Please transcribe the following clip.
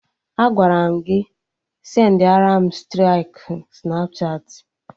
Agwara m gị sendiaram striki Snapchatị!